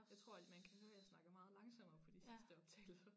Jeg tror at man kan høre jeg snakker meget langsommere på de sidste optagelser